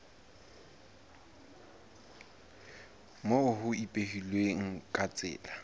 moo ho ipehilweng ka tsela